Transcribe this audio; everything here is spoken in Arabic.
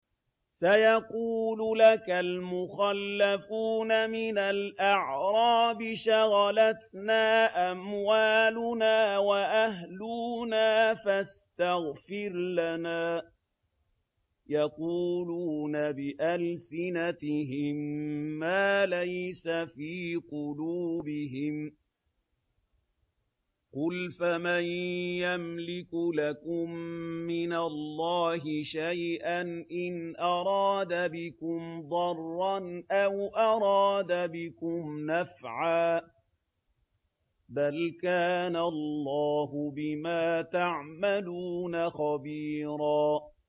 سَيَقُولُ لَكَ الْمُخَلَّفُونَ مِنَ الْأَعْرَابِ شَغَلَتْنَا أَمْوَالُنَا وَأَهْلُونَا فَاسْتَغْفِرْ لَنَا ۚ يَقُولُونَ بِأَلْسِنَتِهِم مَّا لَيْسَ فِي قُلُوبِهِمْ ۚ قُلْ فَمَن يَمْلِكُ لَكُم مِّنَ اللَّهِ شَيْئًا إِنْ أَرَادَ بِكُمْ ضَرًّا أَوْ أَرَادَ بِكُمْ نَفْعًا ۚ بَلْ كَانَ اللَّهُ بِمَا تَعْمَلُونَ خَبِيرًا